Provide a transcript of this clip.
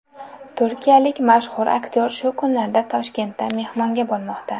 Turkiyalik mashhur aktyor shu kunlarda Toshkentda mehmonda bo‘lmoqda.